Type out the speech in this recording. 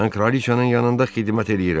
Mən Kraliçanın yanında xidmət eləyirəm.